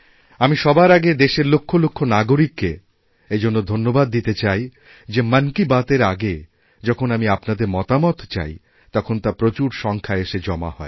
আমি সবার আগে দেশের লক্ষ লক্ষ নাগরিককে এই জন্য ধন্যবাদ দিতে চাই যে মন কী বাত এর আগে যখন আমি আপনাদেরমতামত চাই তখন তা প্রচুর সংখ্যায় এসে জমা হয়